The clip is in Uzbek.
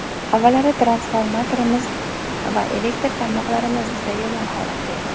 Avvallari transformatorimiz va elektr tarmoqlarimiz juda yomon holatda edi.